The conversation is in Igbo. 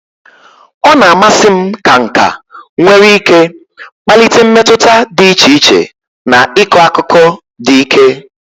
Ọ na-amasị m ka nka nwere ike kpalite mmetụta dị iche iche na ịkọ akụkọ dị ike.